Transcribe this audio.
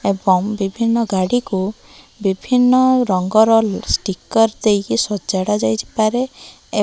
ଏବଂ ବିଭିନ୍ନ ଗାଡ଼ିକୁ ବିଭିନ୍ନ ରଙ୍ଗର ଷ୍ଟିକର ଦେଇକି ସଜଡ଼ା ଯାଇପାରେ --